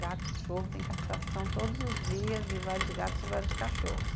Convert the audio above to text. Gato, cachorro, tem castração todos os dias de vários gatos e vários cachorros.